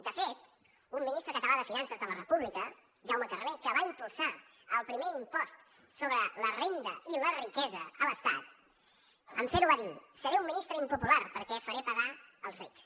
de fet un ministre català de finances de la república jaume carner que va impulsar el primer impost sobre la renda i la riquesa a l’estat en fer ho va dir seré un ministre impopular perquè faré pagar els rics